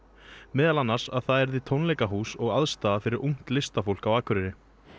meðal annars að það yrði tónleikahús og aðstaða fyrir ungt listafólk